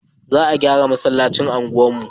Za a gyara masallacin unguwar mu